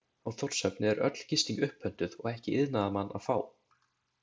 Á Þórshöfn er öll gisting upppöntuð og ekki iðnaðarmann að fá.